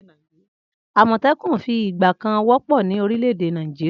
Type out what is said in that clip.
Amotekun fi ìgbà kan wọ́pọ̀ ní orílè èdè Nàìjíríà